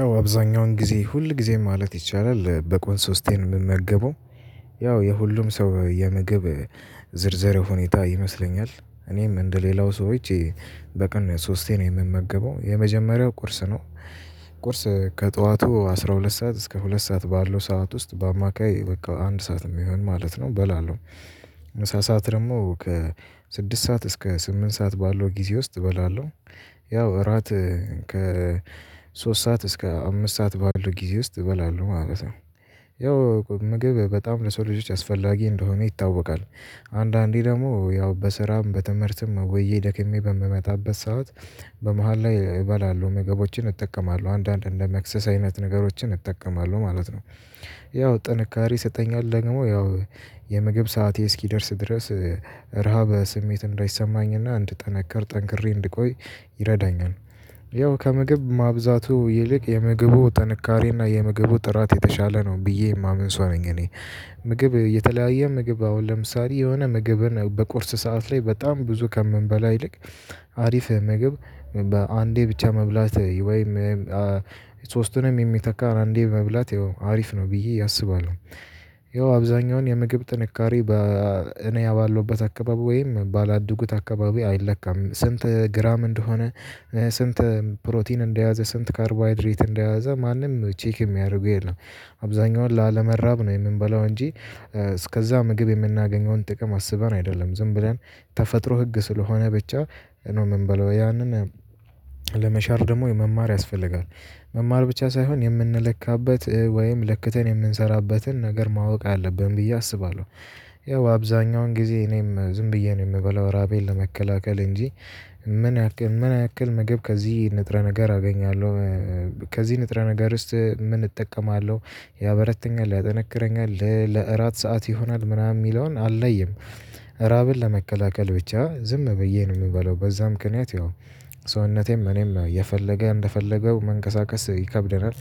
አዎ አብዛኛውን ጊዜ ሁል ጊዜ ማለት ይቻላል በቆን ሶስቴ ነው የምመገበው። ያው የሁሉም ሰው የምግብ ዝርዝር ሁኔታ ይመስለኛል እኔም እንደሌላው ሰዎች በቀን ሶስቴ ነው የምመገበው የመጀመሪያው ቁርስ ነው። ቁርስ ከጠዋቱ አስራ ሁለት ሰዓት እስከ ሁለት ሰዓት ባለው ሰዓት ውስጥ በአማካይ በቃ አንድ ሰዓት የሚሆን ማለት ነው። በላለው ከሰአት ደግሞ ከስድስት ሰዓት እስከ ስምንት ሰዓት ባለው ጊዜ ውስጥ እበላለሁ። ያው እራት ከ ሶስት ሰዓት እስከ አምስት ሰዓት ባሉ ጊዜ ውስጥ እበላለሁ ማለት ነው። ያው ምግብ በጣም ለሰው ልጆች አስፈላጊ እንደሆነ ይታወቃል። አንዳንዴ ደግሞ ያው በስራም በትምህርትም ወዬ ደክሜ በምመታበት ሰዓት በመሃል ላይ እበላለሁ ምግቦችን እጠቀማለሁ አንዳንድ እንደ መክሰስ አይነት ነገሮችን እጠቀማለሁ ማለት ነው። ያው ጥንካሬ ይሰጠኛል ደግሞ ያው የምግብ ሰዓቴ እስኪደርስ ድረስ ረሃብ ስሜት እንዳይሰማኝና እንድጠነክር ጠንክሬ እንድቆይ ይረዳኛል። ያው ከምግብ ማብዛቱ ይልቅ የምግቡ ጥንካሬና የምግቡ ጥራት የተሻለ ነው ብዬ የማምን ሰው ነኝ። እኔ ምግብ የተለያየ ምግብ አሁን ለምሳሌ የሆነ ምግብን በቁርስ ሰዓት ላይ በጣም ብዙ ከምንበላ ይልቅ አሪፍ ምግብ በአንዴ ብቻ መብላት ወይም ሶስቱንም የሚተካ አንዴ መብላት ያው አሪፍ ነው ብዬ አስባለሁ። ያው አብዛኛውን የምግብ ጥንካሬ እኔ ባለውበት አካባቢ ወይም ባላደጉት አካባቢ አይለካም ስንት ግራም እንደሆነ ስንት ፕሮቲን እንደያዘ ስንት ካርቦሃይድሬት እንደያዘ ማንም ቼክ የሚያደርገው የለም። አብዛኛውን ላለመራብ ነው የምንበላው እንጂ እስከዛ ምግብ የምናገኘውን ጥቅም አስበን አይደለም ዝም ብለን ተፈጥሮ ህግ ስለሆነ ብቻ ነው የምንበለው ያንን ለመሻር ደግሞ መማር ያስፈልጋል። መማር ብቻ ሳይሆን የምንለካበት ወይም ለክተን የምንሰራበትን ነገር ማወቅ አለብን ብዬ አስባለሁ። ያው አብዛኛውን ጊዜ እኔም ዝም ብዬ ነው የምበለው ራቤን ለመከላከል እንጂ ምን ያክል ምን ያክል ምግብ ከዚህ ንጥረ ነገር አገኛለሁ? ከዚህ ንጥረ ነገርስ ምን እጠቀማለሁ? ያበረተኛል ያጠነክረኛል ለእራት ሰዓት ይሆናል ምናምን የሚለውን አልለሉም። ራብን ለመቀላቀል ብቻ ዝም ብዬ ነው የምበለው በዛ ምክንያት ይሆን ሰውነቴም እኔም ነው እየፈለገ እንደፈለገው መንቀሳቀስ ይከብደናል።